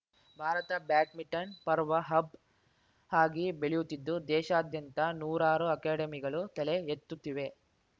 Bharat badminton ಪರ್ವ hub ಆಗಿ ಬೆಳೆಯುತ್ತಿದ್ದು ದೇಶಾದ್ಯಂತ ನೂರಾರು ಅಕಾಡೆಮಿಗಳು ತಲೆ ಎತ್ತುತ್ತಿವೆ